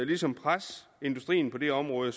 ligesom presse industrien på det område